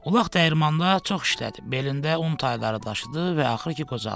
Ulaq dəyirmanda çox işlədi, belində un tayları daşıdı və axırı ki qocaldı.